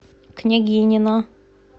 княгинино